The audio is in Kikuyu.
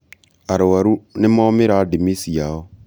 arwaru nĩmomĩra ndĩmĩ ciao